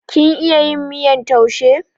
Kin iya yin miyar taushe?